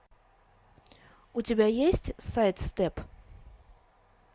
у тебя есть сайд степ